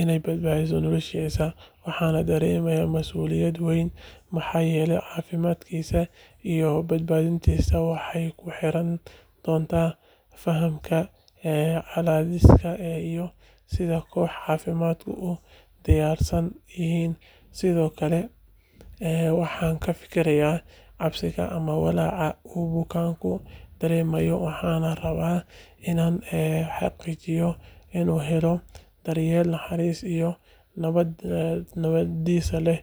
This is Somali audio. inay badbaadiso noloshiisa. Waxaan dareemayaa mas'uuliyad weyn, maxaa yeelay caafimaadkiisa iyo badbaadadiisu waxay ku xirnaan doontaa fahamkayga xaaladdiisa iyo sida koox caafimaadku u diyaarsan yihiin. Sidoo kale, waxaan ka fiirsanayaa cabsida ama walaaca uu bukaanku dareemayo, waxaanan rabaa inaan xaqiijiyo inuu helo daryeel naxariis iyo niyad dhis leh.